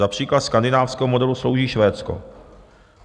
Za příklad skandinávského modelu slouží Švédsko.